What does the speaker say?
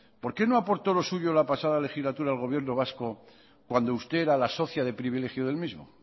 por qué no aportó lo suyo la pasada legislatura al gobierno vasco cuando usted era la socia de privilegio del mismo